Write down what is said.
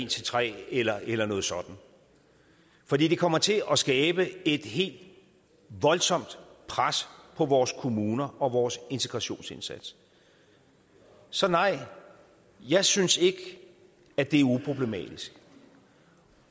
13 eller eller noget sådant for det kommer til at skabe et helt voldsomt pres på vores kommuner og vores integrationsindsats så nej jeg synes ikke at det er uproblematisk